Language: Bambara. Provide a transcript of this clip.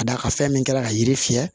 Ka d'a kan fɛn min kɛra ka yiri fiyɛ